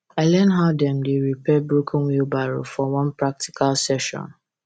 i learn how dem dey repair broken wheelbarrow for one practical session